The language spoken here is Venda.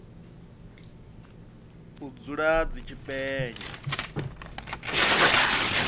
u dzula dzi tshi penya